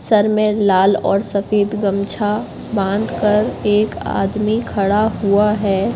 Sir मे लाल और सफेद गमछा बंद कर एक आदमी खड़ा हुआ है।